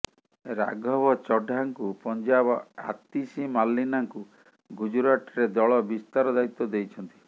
ରାଘବ ଚଡ୍ଡାଙ୍କୁ ପଞ୍ଜାବ ଆତିଶି ମାର୍ଲିନାଙ୍କୁ ଗୁଜରାଟରେ ଦଳ ବିସ୍ତାର ଦାୟିତ୍ୱ ଦେଇଛନ୍ତି